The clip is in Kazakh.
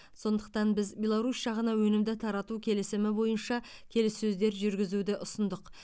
сондықтан біз беларусь жағына өнімді тарату келісімі бойынша келіссөздер жүргізуді ұсындық